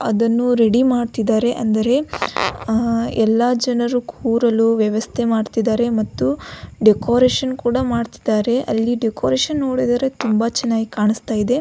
ಅದನ್ನು ರೆಡಿ ಮಾಡತ್ತಿದರೆ ಅಂದರೆ ಅಹ್ ಎಲ್ಲಾ ಜನರು ಕೂರಲು ವ್ಯವಸ್ಥೆ ಮಾಡತ್ತಿದರೆ ಮತ್ತು ಡೆಕೋರೇಷನ್ ಕೂಡ ಮಾಡತ್ತಿದರೆ ಅಲ್ಲಿ ಡೆಕೋರೇಷನ್ ನೋಡಿದರೆ ತುಂಬಾ ಚನ್ನಾಗಿ ಕಾಣಸ್ತಾ ಇದೆ .